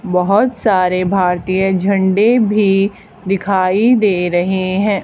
बहोत सारे भारतीय झंडे भी दिखाई दे रहे हैं।